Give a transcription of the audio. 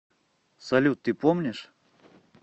салют ты помнишь